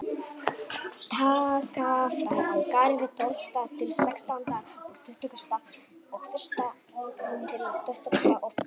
Taka frá á Garði tólfta til sextánda og tuttugasta og fyrsta til tuttugasta og þriðja.